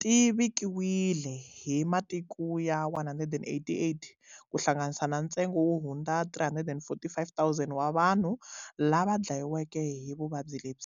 ti vikiwile hi matiko ya188, kuhlanganisa na ntsengo wo hundza 345,000 wa vanhu lava dlaweke hi vuvabyi lebyi.